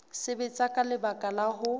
sebetsa ka lebaka la ho